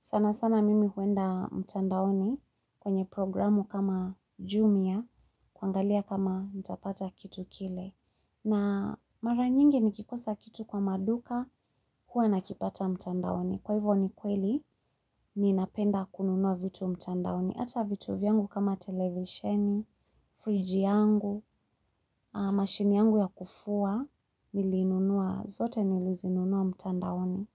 Sana sana mimi huenda mtandaoni kwenye programu kama jumia, kuangalia kama ntapata kitu kile. Na mara nyingi nikikosa kitu kwa maduka hua nakipata mchandaoni. Kwa hivo ni kweli, ninapenda kununua vitu mtandaoni. Ata vitu vyangu kama televisheni, fridge yangu, machine yangu ya kufua, niliinunua zote nilizinunua mtandaoni.